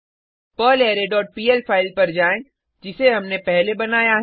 पर्लरे dot PL file पर जाएँ जिसे हमने पहले बनाया है